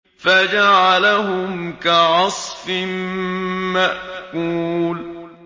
فَجَعَلَهُمْ كَعَصْفٍ مَّأْكُولٍ